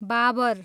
बाबर